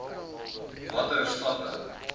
b watter stappe